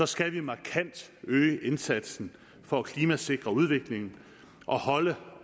skal vi markant øge indsatsen for at klimasikre udviklingen og holde